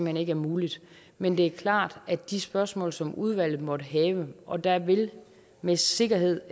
hen ikke er muligt men det er klart at de spørgsmål som udvalget måtte have og der vil med sikkerhed